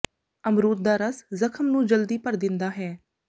ਅਮਰੂਦ ਦਾ ਰਸ ਜ਼ਖਮ ਨੂੰ ਜਲਦੀ ਭਰ ਦਿੰਦਾ ਹੈ